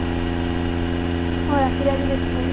ରାତିରେ ଆଜି ଦେଖିନବୁ